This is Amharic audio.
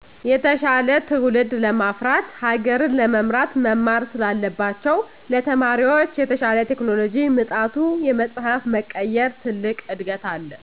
የተሻለ ትዉልድ ለማፍራት ሀገርን ለመምራት መማር ስላለባቸዉ ለተማሪዎች የተሻለ ቴክኖሎጅ ምጣቱ የመፀሀፍ መቀየር ትልቅ እድገት አለ